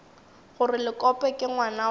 gore lekope ke ngwana wa